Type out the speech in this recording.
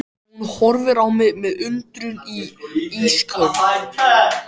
Hún horfir á mig með undrun í ísköld